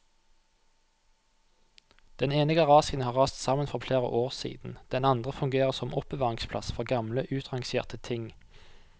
Den ene garasjen har rast sammen for flere år siden, den andre fungerer som oppbevaringsplass for gamle utrangerte ting.